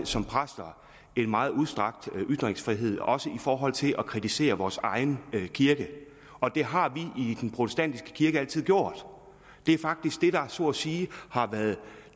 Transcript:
som præster en meget udstrakt ytringsfrihed også i forhold til at kritisere vores egen kirke og det har vi i den protestantiske kirke altid gjort det er faktisk det der så at sige har været